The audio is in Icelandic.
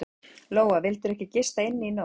Lóa: Vildirðu ekki gista inni í nótt?